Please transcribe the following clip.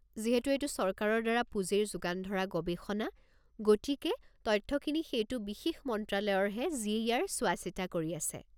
যিহেতু এইটো চৰকাৰৰ দ্বাৰা পুঁজিৰ যোগান ধৰা গৱেষণা, গতিকে তথ্যখিনি সেইটো বিশেষ মন্ত্ৰালয়ৰহে যিয়ে ইয়াৰ চোৱা-চিতা কৰি আছে।